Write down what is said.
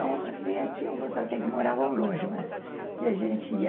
É, ou então, tínhamos até que moravam longe, mas que a gente ia.